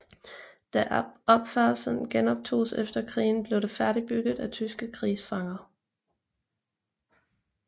Da opførslen genoptogs efter krigen blev det færdigbygget af tyske krigsfanger